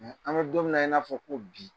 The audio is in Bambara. An bɛ don min na i n'a fɔ ko bi.